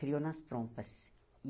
Criou nas trompas.